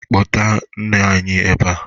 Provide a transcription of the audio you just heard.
Kpọta nne anyị eba